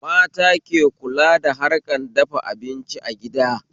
Mata ke kula da harkan dafa abinci a gida